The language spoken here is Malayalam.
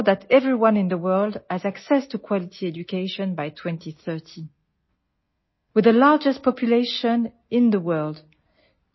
2030ഓടെ ലോകത്തിലെ എല്ലാവർക്കും ഗുണനിലവാരമുള്ള വിദ്യാഭ്യാസം ലഭ്യമാകുമെന്ന് ഉറപ്പാക്കാൻ യുനെസ്കോ അതിന്റെ അംഗരാജ്യങ്ങളുമായി ചേർന്ന് പ്രവർത്തിക്കുന്നു